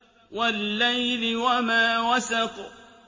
وَاللَّيْلِ وَمَا وَسَقَ